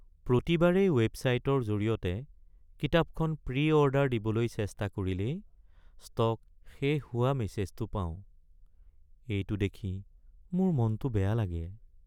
প্ৰতিবাৰেই ৱেবছাইটৰ জৰিয়তে কিতাপখন প্ৰি-অৰ্ডাৰ দিবলৈ চেষ্টা কৰিলেই ষ্টক শেষ হোৱা মেছেজটো পাওঁ, এইটো দেখি মোৰ মনটো বেয়া লাগে।